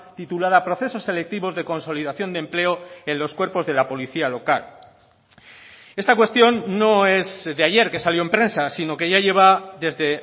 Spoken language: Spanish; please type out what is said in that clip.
titulada procesos selectivos de consolidación de empleo en los cuerpos de la policía local esta cuestión no es de ayer que salió en prensa sino que ya lleva desde